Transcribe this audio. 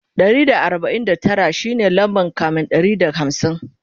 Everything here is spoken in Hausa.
Ɗari da arbain da Tara shine lamba kamin Ɗari da hamsin